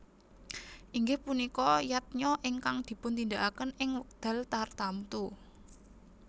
Inggih punika Yadnya ingkang dipuntindakaken ing wekdal tartamtu